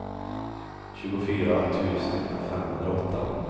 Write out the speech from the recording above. tjugofyra tusen femhundraåtta